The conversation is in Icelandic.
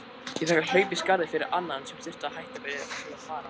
Ég fékk að hlaupa í skarðið fyrir annan sem þurfti að hætta við að fara.